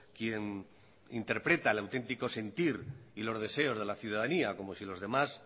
quien interpreta el auténtico sentir y los deseos de la ciudadanía como si los demás